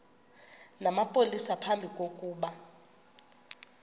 namapolisa phambi kokuba